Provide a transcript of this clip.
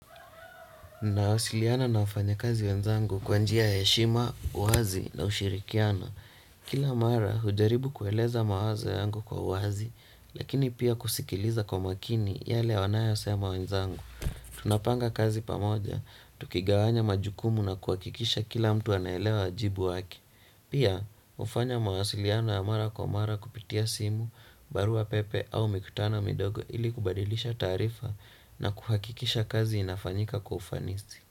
Na wasiliana na wafanya kazi wenzangu kwa njia ya heshima, wazi na ushirikiano. Kila mara hujaribu kueleza mawazo yangu kwa uwazi lakini pia kusikiliza kwa makini yale wanayo sema wenzangu. Tunapanga kazi pamoja, tukigawanya majukumu na kuwakikisha kila mtu anaelewa wajibu wake. Pia, ufanya mawasiliano ya mara kwa mara kupitia simu, barua pepe au mikutano midogo ili kubadilisha taarifa na kuhakikisha kazi inafanyika kwa ufanisi.